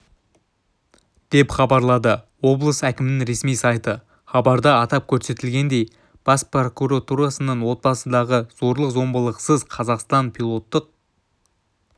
деп хабарлады облыс әкімінің ресми сайты хабарда атап көрсетілгендей бас прокуратурасының отбасындағы зорлық-зомбылықсыз қазақстан пилоттық